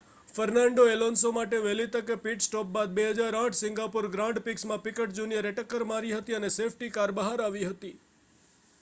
Fernando Alonso માટે વહેલી તકે પિટ સ્ટોપ બાદ 2008 સિંગાપોર ગ્રાંડ પ્રીક્ષમાં પિકટ જુનિયરે ટક્કર મારી હતી અને સેફ્ટી કાર બહાર આવી હતી